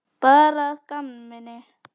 Bara að gamni.